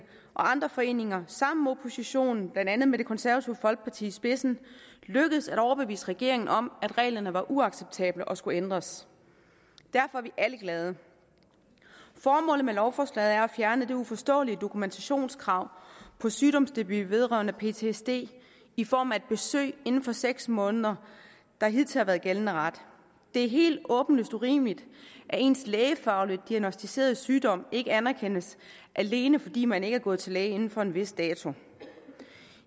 og andre foreninger sammen med oppositionen blandt andet med det konservative folkeparti i spidsen lykkedes at overbevise regeringen om at reglerne var uacceptable og skulle ændres derfor er vi alle glade formålet med lovforslaget er at fjerne det uforståelige dokumentationskrav på sygdomsdebut vedrørende ptsd i form af et besøg inden for seks måneder der hidtil har været gældende ret det er helt åbenlyst urimeligt at ens lægefagligt diagnosticerede sygdom ikke anerkendes alene fordi man ikke er gået til læge inden for en vis dato